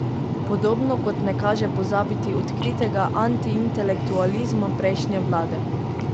Podobno kot ne kaže pozabiti odkritega antiintelektualizma prejšnje vlade.